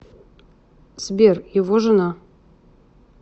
сбер его жена